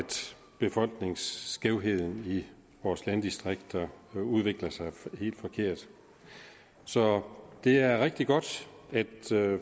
befolkningssammensætningen i vores landdistrikter udvikler sig helt forkert så det er rigtig godt at